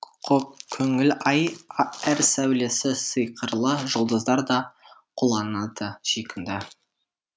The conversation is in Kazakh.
ақкөңіл ай әр сәулесі сиқырлы жұлдыздар да қуланады сүйкімді